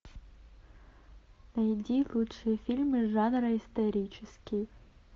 найди лучшие фильмы жанра исторический